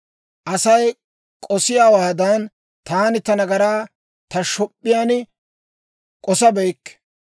Asay k'osiyaawaadan, taani ta nagaraa ta shop'p'iyaan k'osabeykke.